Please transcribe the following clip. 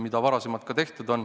Seda on varemgi tehtud.